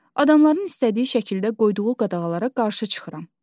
Adamların istədiyi şəkildə qoyduğu qadağalara qarşı çıxıram.